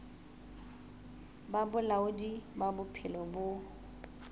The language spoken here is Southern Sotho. ba bolaodi ba bophelo bo